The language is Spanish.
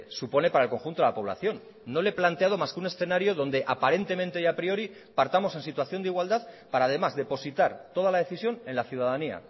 supone para el conjunto de la población no le he planteado más que un escenario donde aparentemente y a priori partamos en situación de igualdad para además depositar toda la decisión en la ciudadanía